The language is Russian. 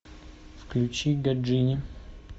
включи гаджини